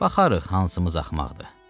Baxarıq hansımız axmaqdır.